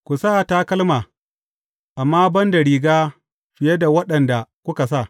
Ku sa takalma, amma ban da riga fiye da waɗanda kuka sa.